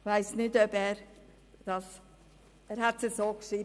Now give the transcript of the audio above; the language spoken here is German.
Er hat es so geschrieben.